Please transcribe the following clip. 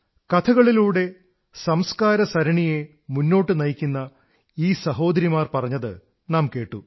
കഥകളിലൂടെ സംസ്കാര നദിയെ മുന്നോട്ടു നയിക്കുന്ന ഈ സഹോദരിമാർ പറഞ്ഞതു നാം കേട്ടു